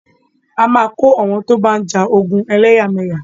A máa kó àwọn tó bá ń ja ogun ẹlẹ́yàmẹyà.